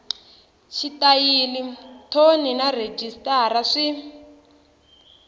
xitayili thoni na rhejisitara swi